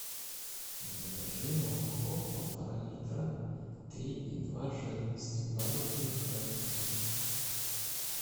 закажи молоко полтора литра три и два жирности бабушкина крынка